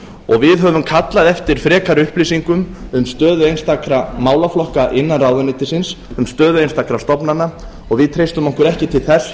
og við höfum kallað eftir frekari upplýsingum um stöðu einstakra málaflokka innan ráðuneytisins um stöðu einstakra stofnana og við treystum okkur ekki til þess